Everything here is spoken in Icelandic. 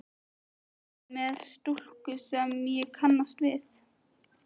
Þið eruð með stúlku sem ég kannast við!